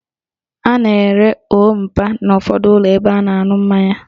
A na-ere òó mpa n' ụfọdụ ụlọ ebe a na-aṅụ mmanya